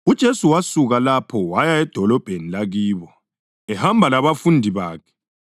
UJesu wasuka lapho waya edolobheni lakibo, ehamba labafundi bakhe.